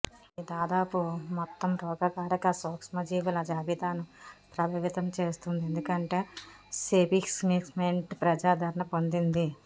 ఇది దాదాపు మొత్తం రోగకారక సూక్ష్మజీవుల జాబితాను ప్రభావితం చేస్తుంది ఎందుకంటే సెఫిక్స్మేంట్ ప్రజాదరణ పొందింది